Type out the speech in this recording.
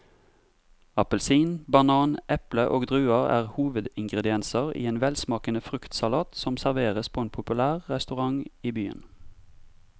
Appelsin, banan, eple og druer er hovedingredienser i en velsmakende fruktsalat som serveres på en populær restaurant i byen.